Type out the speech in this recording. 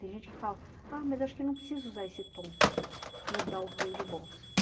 Tem gente que fala, ah, mas acho que não precisa usar esse tom, mudar o tom de voz.